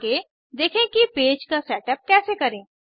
आगे देखें कि पेज का सेटअप कैसे करें